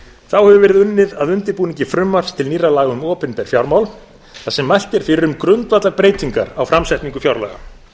þá hefur verið unnið áfram að undirbúningi frumvarps til nýrra laga um opinber fjármál þar sem mælt er fyrir um grundvallarbreytingar á framsetningu fjárlaga